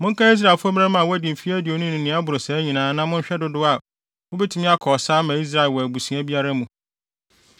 “Monkan Israelfo mmarima a wɔadi mfe aduonu ne nea ɛboro saa nyinaa na monhwɛ dodow a wobetumi akɔ ɔsa ama Israel wɔ abusua biara mu.”